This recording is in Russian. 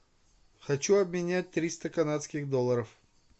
хочу обменять триста канадских долларов